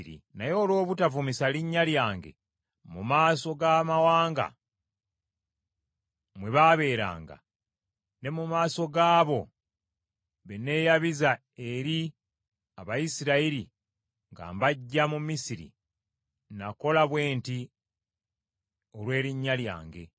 Naye olw’obutavumisa linnya lyange mu maaso g’amawanga mwe baabeeranga, ne mu maaso gaabo be neeyabiza eri Abayisirayiri nga mbaggya mu Misiri, nakola bwe nti olw’erinnya lyange.